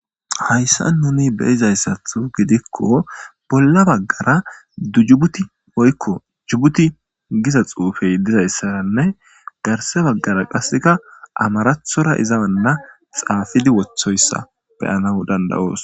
Hayisan nuni beizayisa gidiko bolla bagara dujibuti woyiko jubuti giza xufe dizayisanne garsa bagara qasika amaratora iza bolla xafidi wotidoyisa beanawu dandayayis